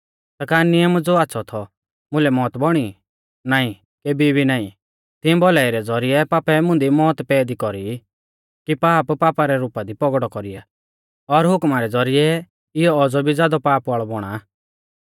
ता का नियम ज़ो आच़्छ़ौ थौ मुलै मौत बौणी नाईं केभी भी नाईं तिऐं भौलाई रै ज़ौरिऐ पापै मुंदी मौत पैदी कौरी कि पाप पापा रै रुपा दी पौगड़ौ कौरीया और हुकमा रै ज़ौरिऐ इयौ औज़ौ भी ज़ादौ पाप वाल़ौ बौणा